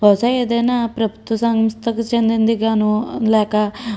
బహుశ ఏ దయినా ప్రభుత్వ సంస్థకి చెందింది గాను లేక --